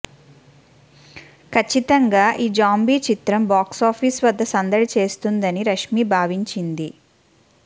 ఖచ్చితంగా ఈ జాంబీ చిత్రం బాక్సాఫీస్ వద్ద సందడి చేస్తుందని రష్మి భావించింది